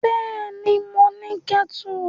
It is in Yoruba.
Bẹ́ẹ̀ni, mo ní kẹ́tù.